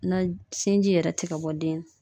Na sinji yɛrɛ ti ka bɔ den na.